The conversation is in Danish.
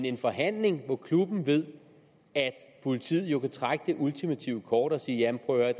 en forhandling hvor klubben ved at politiet vil trække det ultimative kort og sige prøv at